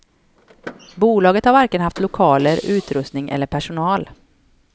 Bolaget har varken haft lokaler, utrustning eller personal.